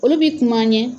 Olu bi kuma an ɲɛ